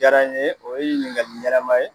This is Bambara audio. Jara n ye, o ye ɲininkali ɲanaman ye